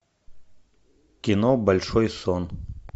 кино большой сон